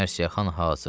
Mərsiyəxan hazır.